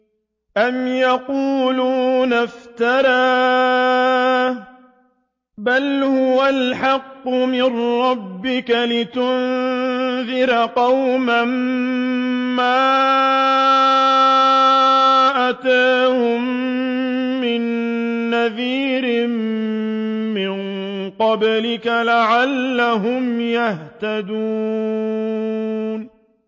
أَمْ يَقُولُونَ افْتَرَاهُ ۚ بَلْ هُوَ الْحَقُّ مِن رَّبِّكَ لِتُنذِرَ قَوْمًا مَّا أَتَاهُم مِّن نَّذِيرٍ مِّن قَبْلِكَ لَعَلَّهُمْ يَهْتَدُونَ